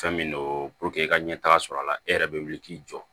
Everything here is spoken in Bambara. Fɛn min don i ka ɲɛtaga sɔrɔ a la e yɛrɛ bɛ wuli k'i jɔ